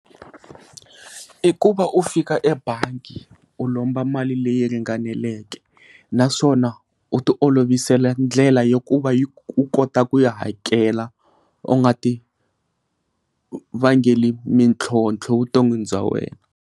I ku va u fika ebangi u lomba mali leyi ringaneleke naswona u ti olovisela ndlela ya ku va u kota ku ya hakela u nga tivangeli mintlhontlho vuton'wini bya wena.